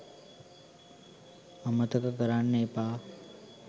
අමතක කරන්න එපා